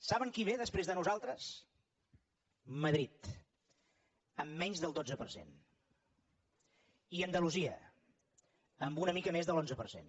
saben qui ve després de nosaltres madrid amb menys del dotze per cent i andalusia amb una mica més de l’onze per cent